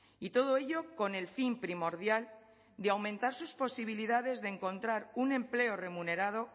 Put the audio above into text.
y todo ello con el fin primordial de aumentar sus posibilidades de encontrar un empleo remunerado